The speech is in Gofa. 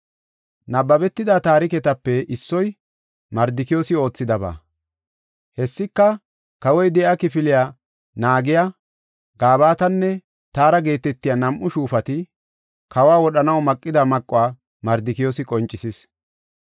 Nabbabetida taariketape issoy Mardikiyoosi oothidaba. Hessika, kawoy de7iya kifiliya naagiya, Gabatanne Taara geetetiya nam7u shuufati kawa wodhanaw maqida maquwa Mardikiyoosi qoncisis.